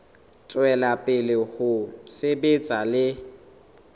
tswela pele ho sebetsa le